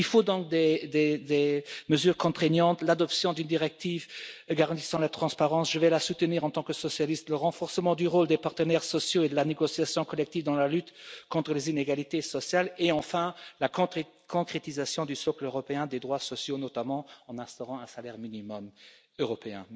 Il faut donc des mesures contraignantes l'adoption d'une directive garantissant la transparence je la soutiendrai en tant que socialiste le renforcement du rôle des partenaires sociaux et de la négociation collective dans la lutte contre les inégalités sociales et enfin la concrétisation du socle européen des droits sociaux, notamment en instaurant un salaire minimum européen.